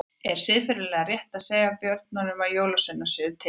Er siðferðilega rétt að segja börnum sínum að jólasveinar séu til?